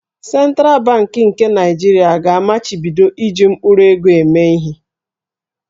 Sentral Bankị nke Naịjirịa ga-amachibido iji mkpụrụego eme ihe.